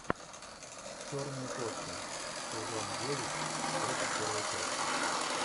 черные кошки сезон девять тридцать первая часть